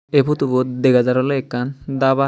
aye potubot dagajar olay akan daba.